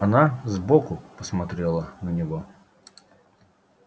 она сбоку посмотрела на него